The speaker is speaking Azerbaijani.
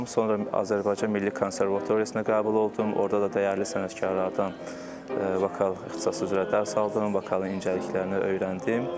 Sonra Azərbaycan Milli Konservatoriyasına qəbul oldum, orda da dəyərli sənətkarlardan vokal ixtisası üzrə dərs aldım, vokalın incəliklərini öyrəndim.